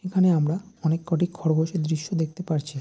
এখানে আমরা অনেক কটি খরগোশের দৃশ্য দেখতে পারছি।